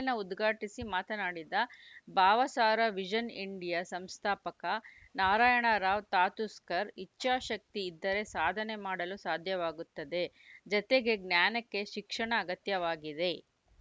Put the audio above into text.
ಸಮ್ಮೇಳನ ಉದ್ಘಾಟಿಸಿ ಮಾತನಾಡಿದ ಭಾವಸಾರ ವಿಷನ್‌ ಇಂಡಿಯಾ ಸಂಸ್ಥಾಪಕ ನಾರಾಯಣರಾವ್‌ ತಾತುಸ್ಕರ್‌ ಇಚ್ಛಾಶಕ್ತಿ ಇದ್ದರೆ ಸಾಧನೆ ಮಾಡಲು ಸಾಧ್ಯವಾಗುತ್ತದೆ ಜತೆಗೆ ಜ್ಞಾನಕ್ಕೆ ಶಿಕ್ಷಣ ಅಗತ್ಯವಾಗಿದೆ